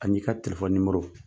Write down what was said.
Ani i ka telefɔni nimoro.